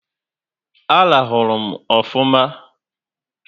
A rahuru m ofụma